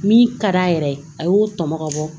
Min ka d'a yɛrɛ ye a y'o tɔmɔ ka bɔ